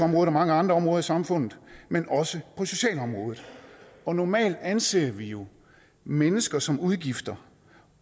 mange andre områder i samfundet men også på socialområdet og normalt anser vi jo mennesker som udgifter